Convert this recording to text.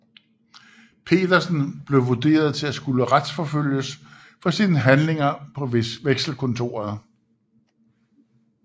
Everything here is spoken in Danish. Petersen blev vurderet til at skulle retsforfølges for sine handlinger på Vekselkontoret